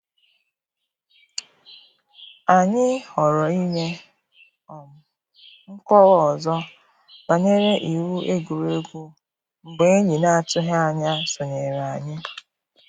Anyị ghọrọ inye um nkọwa ọzọ banyere iwu egwuregwu mgbe enyi na-atụghị anya sonyere anyị.